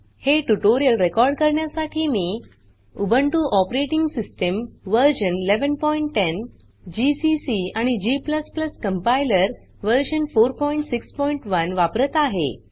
हे tutorial record करण्यासाठी मी Ubuntu operating system version 1110 GCC आणि g कंपाइलर वर्जन 461 वापरत आहे